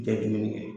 Tɛ dumuni kɛ